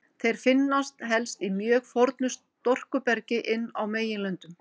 Þeir finnast helst í mjög fornu storkubergi inn á meginlöndum.